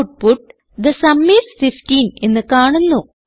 output the sum is 15 എന്ന് കാണുന്നു